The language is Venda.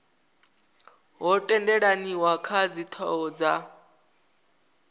ho tendelaniwa kha dzithoho dza